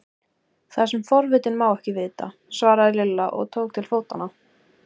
Það sem forvitinn má ekki vita! svaraði Lilla og tók til fótanna.